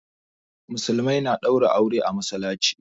Musulmai na ɗaura aure a masallaci